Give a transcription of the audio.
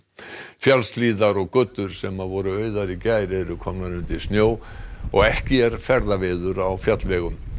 fjallshlíðar og götur sem voru auðar í gær eru komnar undir snjó og ekki er ferðaveður á fjallvegum